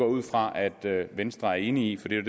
ud fra at venstre er enig i for det er